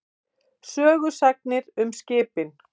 Sögusagnir um skipin.